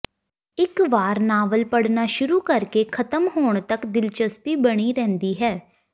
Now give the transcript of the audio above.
ਇਕ ਵਾਰ ਨਾਵਲ ਪੜ੍ਹਨਾ ਸ਼ੁਰੂ ਕਰਕੇ ਖ਼ਤਮ ਹੋਣ ਤੱਕ ਦਲਚਸਪੀ ਬਣੀ ਰਹਿੰਦੀ ਹੈ